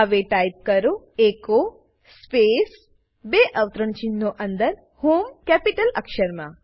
હવે ટાઈપ કરો echo space બે અવતરણચિહ્નો અંદર હોમ કેપિટલ અક્ષરમાં